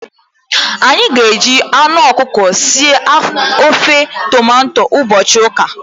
Anyị ga-eji anụ ọkụkọ sie ofe tomato ụbọchị ụka.